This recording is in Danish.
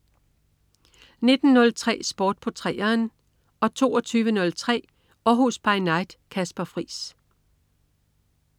19.03 Sport på 3'eren 22.03 Århus By Night. Kasper Friis